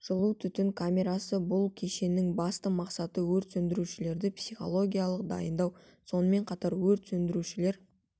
жылу түтін камерасы бұл кешеннің басты мақсаты өрт сөндірушілерді психологиялық дайындау сонымен қатар өрт сөндірушілер